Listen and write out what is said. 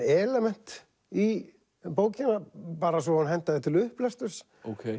element í bókina bara svo hún hentaði til upplesturs